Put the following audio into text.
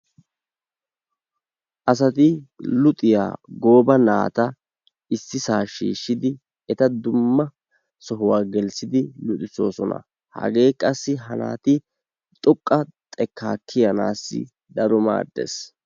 Asati luxiya gooba naata issisaa shiishidi eta dumma sohuwa gelissidi luxisoosona. hagee qassi ha naati xoqqa xekkaa kiyanaassi daro maaddees.